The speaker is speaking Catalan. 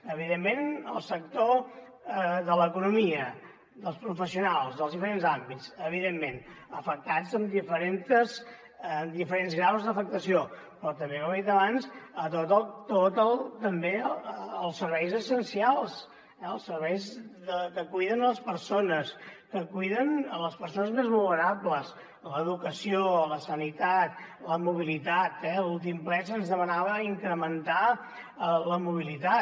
evidentment el sector de l’economia dels professionals dels diferents àmbits evidentment afectats amb diferents graus d’afectació però també com he dit abans també els serveis essencials els serveis que cuiden les persones que cuiden les persones més vulnerables l’educació la sanitat la mobilitat eh a l’últim ple se’ns demanava incrementar la mobilitat